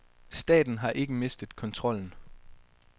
Staten har ikke mistet kontrollen.